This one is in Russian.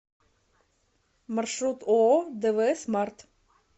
маршрут ооо двсмарт